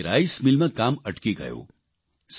તેમની રાઇસમિલમાં કામ અટકી ગયું